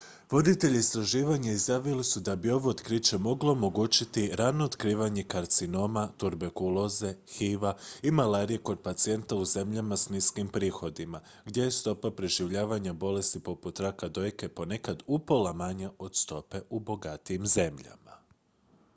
voditelji istraživanja izjavili su da bi ovo otkriće moglo omogućiti rano otkrivanje karcinoma tuberkuloze hiv-a i malarije kod pacijenata u zemljama s niskim prihodima gdje je stopa preživljavanja bolesti poput raka dojke ponekad upola manja od stope u bogatijim zemljama